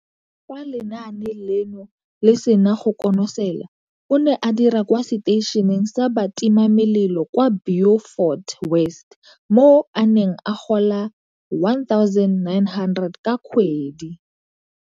Fa lenaane leno le sena go konosela, o ne a dira kwa seteišeneng sa batimamelelo kwa Beaufort West, mo a neng a gola R1 900 ka kgwedi.